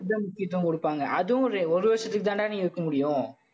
அதுக்கு தான் முக்கியத்துவம் கொடுப்பாங்க. அதுவும் ஒரு ஒரு வருஷத்துக்கு தான்டா நீ இருக்க முடியும்